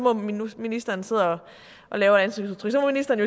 at ministeren sidder og laver ansigtsudtryk